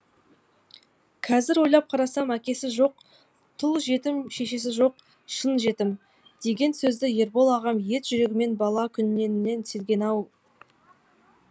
қазір ойлап қарасам әкесі жоқ тұл жетім шешесі жоқ шын жетім деген сөзді ербол ағам ет жүрегімен бала күнінен сезінген екен ау